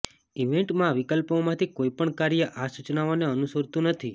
ઇવેન્ટમાં વિકલ્પોમાંથી કોઈ પણ કાર્ય આ સૂચનાઓને અનુસરતું નથી